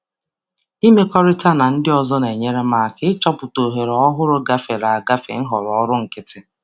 Ịmekọrịta um na ndị ọzọ um na-enyere um aka ịchọpụta ohere ọhụrụ gafere nhọrọ ọrụ nkịtị.